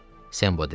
Sembo dedi.